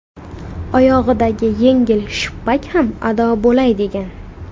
Oyog‘idagi yengil shippak ham ado bo‘lay degan.